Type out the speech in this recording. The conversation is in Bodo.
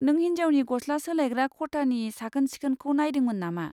नों हिनजावनि गस्ला सोलायग्रा खथानि साखोन सिखोनखौ नायदोंमोन नामा?